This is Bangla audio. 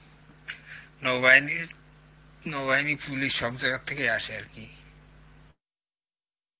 নৌ বাহিনীর, নৌ বাহিনী, পুলিশ সব জায়গা থেকে আসে আর কি